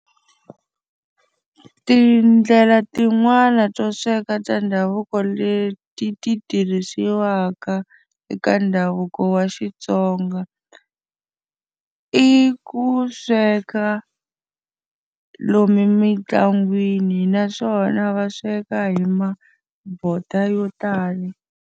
Tindlela tin'wani to sweka ta ndhavuko leti ti tirhisiwaka eka ndhavuko wa Xitsonga, i ku sweka lomu mintlangwini naswona va sweka hi mabodo yo tala.